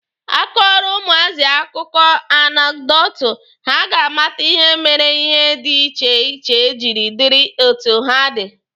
A kọọrọ ụmụazị akụkọ anekdotu, ha ga amata ihe mere ihe dị iche iche jiri dịrị etu ha dị.